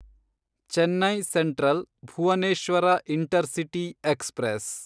Chennai Central Bhubaneswar Intercity express